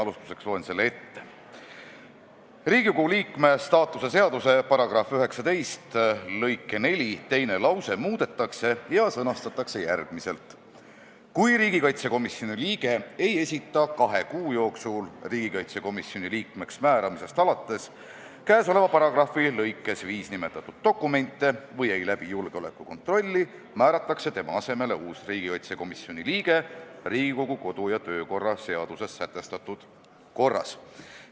Alustuseks loen selle ette: "Riigikogu liikme staatuse seaduse § 19 lõike 4 teine lause muudetakse ja sõnastatakse järgmiselt: "Kui riigikaitsekomisjoni liige ei esita kahe kuu jooksul riigikaitsekomisjoni liikmeks määramisest arvates käesoleva paragrahvi lõikes 5 nimetatud dokumente või ei läbi julgeolekukontrolli, määratakse tema asemele uus riigikaitsekomisjoni liige Riigikogu kodu- ja töökorra seaduses sätestatud korras.